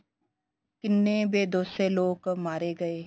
ਕਿੰਨੇ ਬੇਦੋਸ਼ੇ ਲੋਕ ਮਾਰੇ ਗਏ